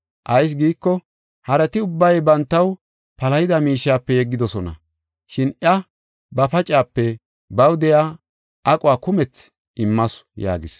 Ayis giiko, harati ubbay bantaw palahida miishiyape yeggidosona. Shin iya ba pacaape, baw de7iya aquwa kumethi immasu” yaagis.